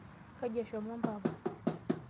Kaji eshomo mpapa?